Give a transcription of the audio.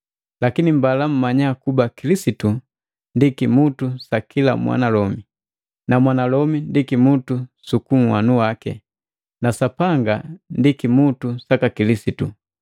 Lakini mbala mmanya kuba Kilisitu ndi kimutu sa kila mwanalomi, na mwanalomi ndi kimutu suku nhanu waki, na Sapanga ndi kimutu saka Kilisitu.